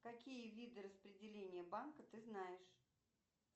какие виды распределения банка ты знаешь